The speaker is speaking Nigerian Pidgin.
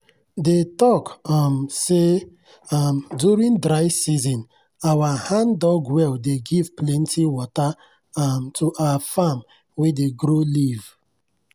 dey talk um say um during dry season our hand-dug well dey give plenty water um to our farm wey dey grow leaf.